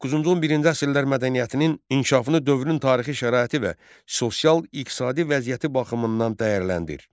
9-11-ci əsrlər mədəniyyətinin inkişafını dövrün tarixi şəraiti və sosial-iqtisadi vəziyyəti baxımından dəyərləndir.